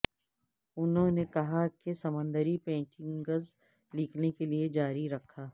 انہوں نے کہا کہ سمندری پینٹنگز لکھنے کے لئے جاری رکھا